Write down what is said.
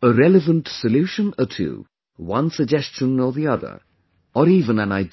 a relevant solution or two, one suggestion or the other, or even an idea